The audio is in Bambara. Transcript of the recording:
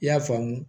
I y'a faamu